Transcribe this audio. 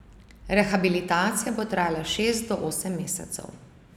Rehabilitacija bo trajala šest do osem mesecev.